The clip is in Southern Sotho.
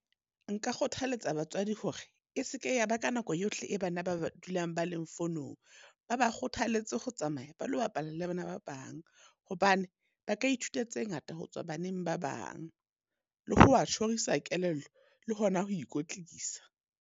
Nka kgothaletsa batswadi hore, e seke ya ba ka nako yohle e bana ba ba dulang ba leng fonong. Ba ba kgothaletse ho tsamaya ba lo bapala le bana ba bang. Hobane ba ka ithuta tse ngata ho tswa baneng ba bang, le ho ba tjhorisa kelello le hona ho ikwetlisa.